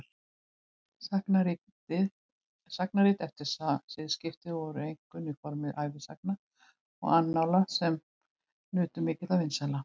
Sagnarit eftir siðaskipti voru einkum í formi ævisagna og annála sem nutu mikilla vinsælda.